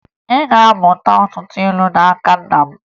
Ị ga-amụta ọtụtụ ilu n'aka nna m